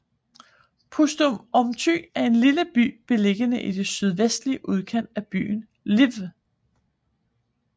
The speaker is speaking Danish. Pustomyty er en lille by beliggende i den sydvestlige udkant af byen Lviv